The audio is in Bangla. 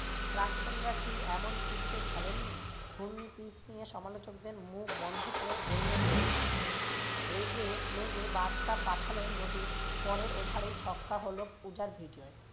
প্রাক্তনরা কি এমন pitch এ খেলেননি? ঘূর্ণি pitch নিয়ে সমালোচক দেড় মুখ বন্ধ করে বললেন রোহিত শর্মা। রেগে মেগে বার্তা পাঠালেন রোহিত পরের over এই ছক্কা হলো